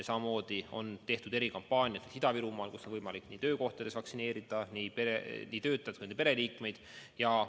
Samamoodi on tehtud erikampaaniat Ida-Virumaal, kus on võimalik töökohtades vaktsineerida nii töötajaid kui ka nende pereliikmeid.